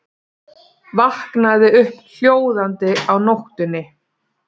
Vaknaði upp hljóðandi á nóttunni.